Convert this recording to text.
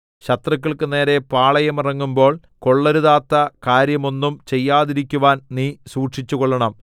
ശത്രുക്കൾക്കു നേരെ പാളയമിറങ്ങുമ്പോൾ കൊള്ളരുതാത്ത കാര്യമൊന്നും ചെയ്യാതിരിക്കുവാൻ നീ സൂക്ഷിച്ചുകൊള്ളണം